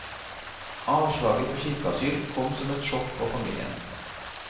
Avslaget på kirkeasyl kom som et sjokk på familien.